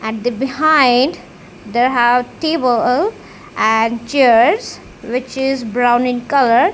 at the behind there have table and chairs which is brown in colour.